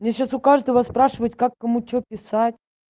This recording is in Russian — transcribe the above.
мне сейчас у каждого спрашивать как кому что писать